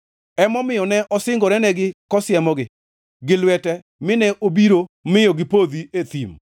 Emomiyo ne osingorenegi kosiemogi gi lwete nine obiro miyo gipodhi e thim,